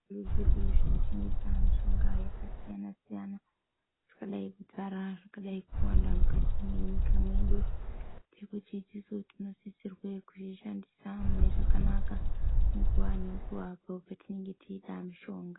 Zvitoro zvedu zvino tengesa mishonga yaka siyana siyana dzakadai kudzara zvakadai kuwanda mukati me nyika mwedu tinoti isusu tino sisirwe kuzvi shandisa mune zvakanaka nguva ne nguva apo patinenge teide mushonga.